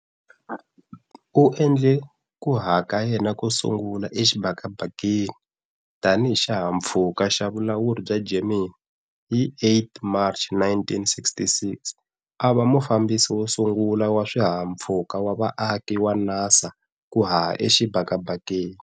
U endle ku haha ka yena ko sungula exibakabakeni tanihi xihahampfhuka xa vulawuri bya Gemini 8 hi March 1966, a va mufambisi wo sungula wa swihahampfhuka wa vaaki wa NASA ku haha exibakabakeni.